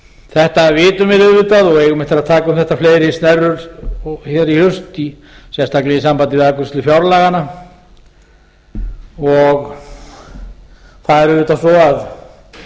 þetta vitum við auðvitað og eigum eftir að taka um þetta fleiri snerrur hér í haust sérstaklega í sambandi við afgreiðslu fjárlaganna og það er auðvitað svo að